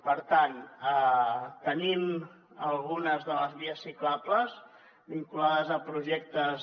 per tant tenim algunes de les vies ciclables vinculades a projectes